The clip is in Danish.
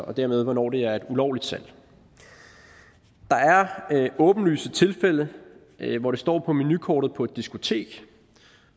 og dermed hvornår det er et ulovligt salg der er åbenlyse tilfælde hvor det står på menukortet på et diskotek